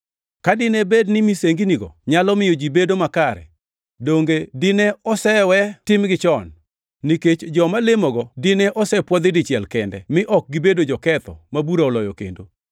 Ka dine bed ni misenginigo nyalo miyo ji bedo makare, donge dine osewetimgi chon? Nikech joma lemogo dine osepwodhi dichiel kende, mi ok gibedo joketho ma bura oloyo kendo.